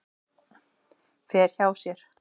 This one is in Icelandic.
Fer hjá sér.